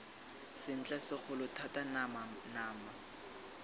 sentle segolo thata nama nama